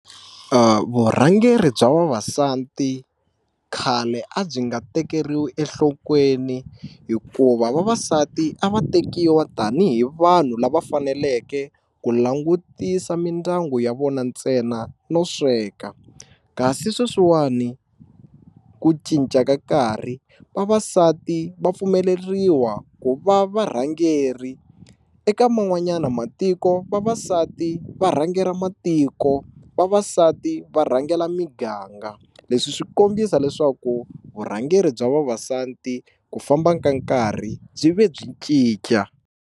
Vurhangeri bya vavasati khale a byi nga tekeriwi enhlokweni hikuva vavasati a va tekiwa tanihi vanhu lava faneleke ku langutisa mindyangu ya vona ntsena no sweka kasi sweswiwani ku cinca ka nkarhi vavasati va pfumeleriwa ku va varhangeri eka man'wanyana matiko vavasati va rhangela matiko vavasati va rhangela miganga leswi swi kombisa leswaku vurhangeri bya vavasati ku famba ka nkarhi byi ve byi cinca.